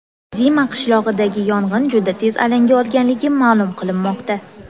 Zima qishlog‘idagi yong‘in juda tez alanga olganligi ma’lum qilinmoqda.